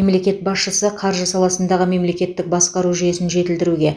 мемлекет басшысы қаржы саласындағы мемлекеттік басқару жүйесін жетілдіруге